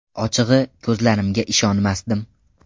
Ochig‘i, ko‘zlarimga ishonmasdim.